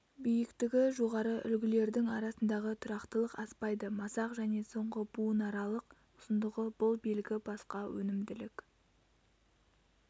биіктігі жоғары үлгілердің арасындағы тұрақтылық аспайды масақ және соңғы буынаралық ұзындығы бұл белгі басқа өнімділік